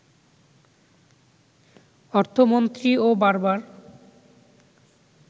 অর্থমন্ত্রীও বারবার